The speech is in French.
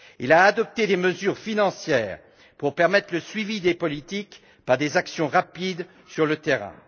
il a adopté des mesures financières pour permettre le suivi des politiques par des actions rapides sur le terrain.